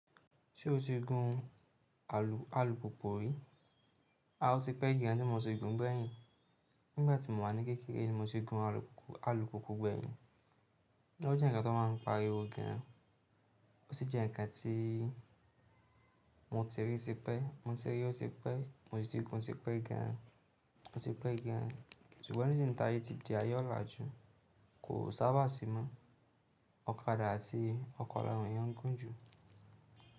Ṣé o ti gun alùpùpù rí? A, o ti pẹ́ gan tí mo ti gun gbẹ̀yìn. Nígbà tí mo wà ní kékeré ni mo ti gun alùpùpù gbẹ̀yìn. Ó jẹ́ ǹkan tó máa ń pariwo gan an. Ó sì jẹ́ ǹkan tí mo ti rí sí pẹ́, mo ti rí i, ó ti pẹ́, mo ti gun, ó ti pẹ́ gan an, ó ti pẹ́ gan an. Sugbon nísìnyí níta ayé ti di ayé ọ̀làjú, kò sábà sí mọ́. Ọ̀kadà àti ọkọ̀ láwọn èèyàn n gún jù.